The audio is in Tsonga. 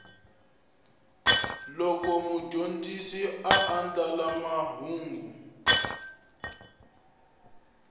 loko mudyondzi a andlala mahungu